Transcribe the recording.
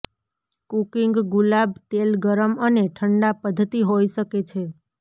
cooking ગુલાબ તેલ ગરમ અને ઠંડા પદ્ધતિ હોઈ શકે છે